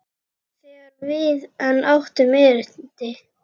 Þegar við enn áttum erindi.